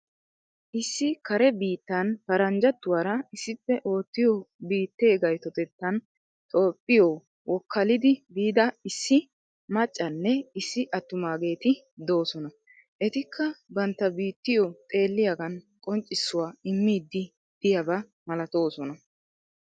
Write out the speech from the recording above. Issi kare biittan paranjjatuura issippe ottiyo biittee gaytotettan toophphiyo wokaalidi biida issi maccanne issi attumageeti doosona. Etikka bantta biittiyo xeelliyagan qoccisuwaa immidi diyaaba malatoosona.